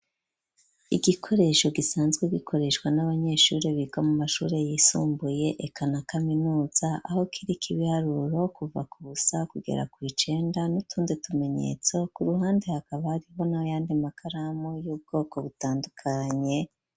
Igikoresho gisanzwe gikoreshwa n'abanyeshure biga mu mashure yisumbuye, eka na kaminuza, aho kiriko ibiharuro kuva ku busa kugera kw’icenda, n'utundi tumenyetso; ku ruhande hakaba hariho n'ayandi makaramu, y'ubwoko butandukanye.